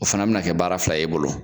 O fana bɛna kɛ baara fila ye e bolo